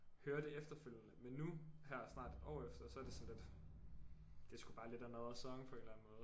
Hører det efterfølgende men nu her snart et år efter så er det sådan lidt det er sgu bare lidt another song på en eller anden måde